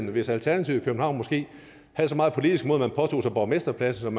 hvis alternativet i københavn måske havde så meget politisk mod at man påtog sig borgmesterposten